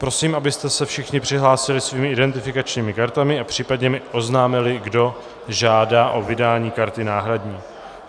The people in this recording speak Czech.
Prosím, abyste se všichni přihlásili svými identifikačními kartami a případně mi oznámili, kdo žádá o vydání karty náhradní.